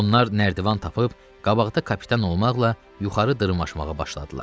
Onlar nərdivan tapıb, qabaqda kapitan olmaqla yuxarı dırmaşmağa başladılar.